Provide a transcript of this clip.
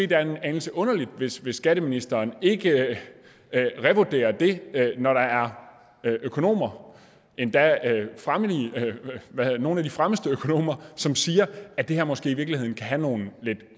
det er en anelse underligt hvis skatteministeren ikke revurderer det når der er økonomer endda nogle af de fremmeste økonomer som siger at det her måske i virkeligheden kan have nogle lidt